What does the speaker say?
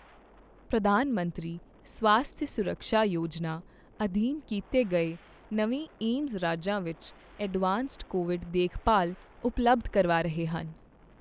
ਪ੍ਰਧਾਨ ਮੰਤਰੀ ਸਵਾਸਥਯ ਸੁਰਕ੍ਸ਼ਾ ਯੋਜਨਾ ਅਧੀਨ ਤਾਰੇ ਕੀਤੇ ਗਏ ਨਵੇਂ ਏਮਜ਼ ਰਾਜਾਂ ਵਿੱਚ ਐਡਵਾਂਸਡ ਕੋਵਿਡ ਦੇਖਭਾਲ ਉਪਲਬਧ ਕਰਵਾ ਰਹੇ ਹਨ